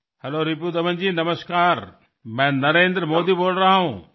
hello रीपुदमनजी नमस्कार मी नरेंद्र मोदी बोलतो आहे